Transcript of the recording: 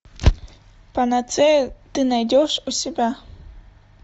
панацея ты найдешь у себя